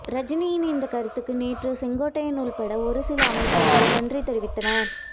ரஜினியின் இந்த கருத்துக்கு நேற்று செங்கோட்டையன் உள்பட ஒருசில அமைச்சர்கள் நன்றி தெரிவித்தனர்